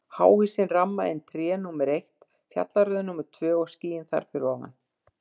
Háhýsin ramma inn tré, númer eitt, fjallaröð númer tvö og skýin þar fyrir ofan.